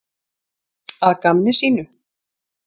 Að gamni sínu?